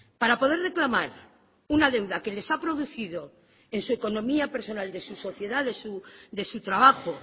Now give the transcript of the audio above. para poder reclamar una deuda que les ha producido en su economía personal de sus sociedades de su trabajo